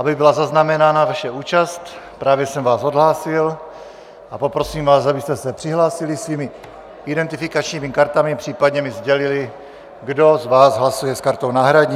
Aby byla zaznamenána vaše účast, právě jsem vás odhlásil a poprosím vás, abyste se přihlásili svými identifikačními kartami, případně mi sdělili, kdo z vás hlasuje s kartou náhradní.